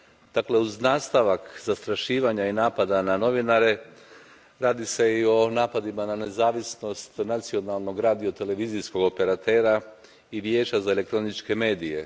Dakle, uz nastavak zastrašivanja i napada na novinare, radi se i o napadima na nezavisnost nacionalnog radiotelevizijskog operatera i vijeća za elektroničke medije.